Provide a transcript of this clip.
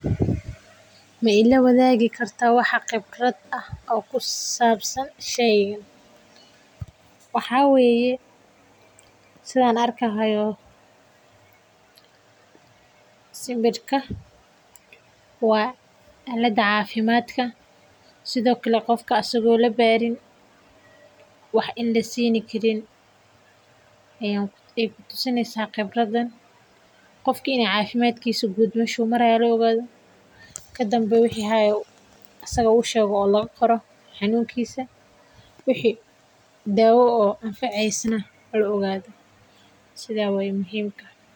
Ma ila waadigi kartaa khibrad kusabsan sheygan waxaa waye sida aan arki haayo sawirka waa alada cafimaadka qofka in lasiiini Karin wax saga oo labaarin kadib wixi daawa ah lasiiyo sidaas waye muhiimka.